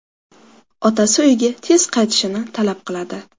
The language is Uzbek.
Otasi uyga tez qaytishini talab qiladi.